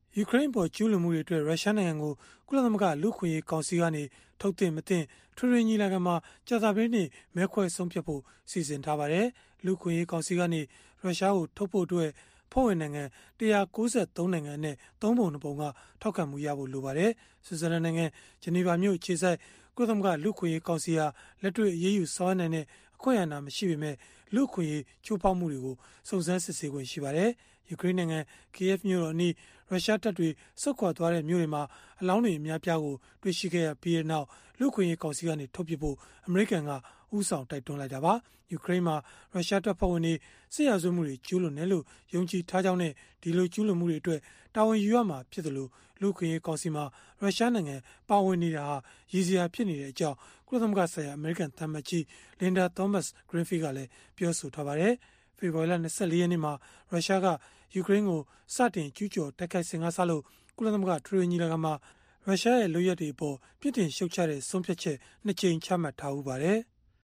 ယူကရိန်းအပေါ် ကျုးလွန်မှုတွေအတွက် ရုရှားနိုင်ငံကို ကုလသမဂ္ဂ လူ့အခွင့်အရေး ကောင်စီကနေ ထုတ်သင့်၊ မသင့် အထွေထွေ ညီလာခံမှာ ကြာသပတေးနေ့ မဲခွဲဆုံးဖြတ်ဖို့ စီစဉ်ထားပါတယ်။ လူ့အခွင့်အရေး ကောင်စီကနေ ရုရှားကို ထုတ်ဖု့ိအတွက် အဖွဲ့ဝင်နိုင်ငံ ၁၉၃ နိုင်ငံအနက် ၃ ပုံ ၂ ပုံ က ထောက်ခံဖို့ လိုပါတယ်။ ဆွစ်ဇာလန်နိုင်ငံ၊ ဂျနီဗာမြို့ အခြေစိုက် ကုလသမဂ္ဂ လူ့အခွင့်အရေး ကောင်စီဟာ လက်တွေ့ အရေးယူ ဆောင်ရွက်နိုင်တဲ့ အာဏာမရှိပေမဲ့၊ လူ့အခွင့်အရေး ချိုးဖောက်မှုတွေကို စုံစမ်းစစ်ဆေးခွင့် ရှိပါတယ်။ ယူကရိန်းနိုင်ငံ Kyiv မြို့တော်အနီး ရုရှားတပ်တွေ ဆုတ်ခွာသွားတဲ့ မြို့တွေမှာ အလောင်းတွေ အများအပြားကို တွေ့ရှိခဲ့ပြီးနောက် လူ့အခွင့်အရေး ကောင်စီကနေ ထုတ်ပစ်ဖို့ အမေရိကန်က ဦးဆောင် တိုက်တွန်းခဲ့တာပါ။ ယူကရိန်းမှာ ရုရှားတပ်ဖွဲ့ဝင်တွေ စစ်ရာဇဝတ်မှုတွေ ကျုးလွန်တယ်လို့ ယုံကြည်ထားကြောင်းနဲ့ ကျုးလွန်မှုတွေအတွက် တာဝန်ယူရမှာဖြစ်သလို၊ လူ့အခွင့်အရေး ကောင်စီမှာ ရုရှားနိုင်ငံ ပါဝင်နေတာဟာ လူရယ်စရာ ဖြစ်နေကြောင်း ကုလသမဂ္ဂဆိုင်ရာ အမေရိကန်သံအမတ်ကြီး Linda Thomas-Greenfield ကလည်း ပြောဆိုထားပါတယ်။ ဖေဖော်ဝါရီလ ၂၄ ရက်နေ့မှာ ရုရှားက ယူကရိန်းကို စတင်ကျုးကျော်တိုက်ခိုက်စဉ်ကစလို့ ကုလသမဂ္ဂ အထွေထွေ ညီလာခံမှာ ရုရှားရဲ့ လုပ်ရပ်တွေအပေါ် ပြစ်တင်ရှုတ်ချတဲ့ ဆုံးဖြတ်ချက် ၂ ကြိမ် ချမှတ်ထားဘူးပါတယ်။